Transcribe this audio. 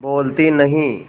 बोलती नहीं